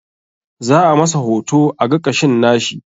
Za a masa hoto a ga ƙashin nashi